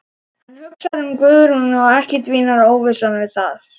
Hann hugsar um Guðrúnu og ekki dvínar óvissan við það.